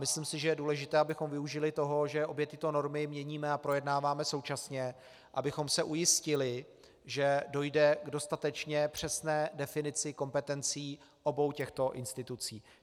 Myslím si, že je důležité, abychom využili toho, že obě tyto normy měníme a projednáváme současně, abychom se ujistili, že dojde k dostatečně přesné definici kompetencí obou těchto institucí.